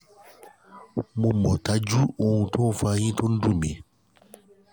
mo mọ̀ dájú ohun tó fa ẹ̀yìn tó ń dùn mí